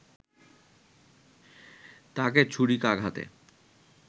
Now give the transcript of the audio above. তাকে ছুরিকাঘাতে